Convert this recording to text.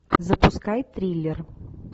запускай триллер